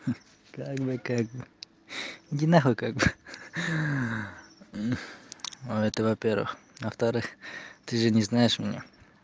как бы как бы иди нахуй как бы хи-хи это во-первых во-вторых ты же не знаешь меня